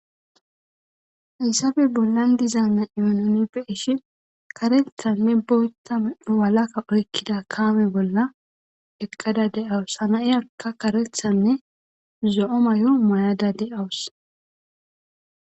Hysabe bollan dizaana yononi beishi karethanne boytame walaka oykkida kaame bolla eqqada de'awus hana7iyakka karethanne zo7o may7o may7ada de7awus.